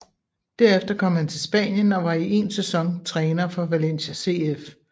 Derefter kom han til Spanien og var i én sæson træner for Valencia CF